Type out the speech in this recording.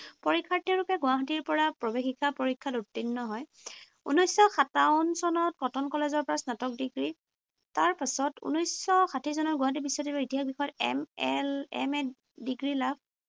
পৰীক্ষাৰ্থীৰূপে গুৱাহাটীৰ পৰা প্ৰৱেশিকা পৰীক্ষাত উত্তীৰ্ণ হয়। ঊনৈশশ সাতাৱন চনত কটন কলেজৰ পৰা স্নাতক ডিগ্ৰী, তাৰপিছত ঊনৈশশ ষাঠী চনত গুৱাহাটী বিশ্ববিদ্যালয়ৰ ইতিহাস বিষয়ৰ M L, M Ed degree লাভ ।